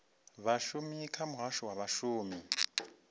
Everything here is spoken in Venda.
vhashumi kha muhasho wa vhashumi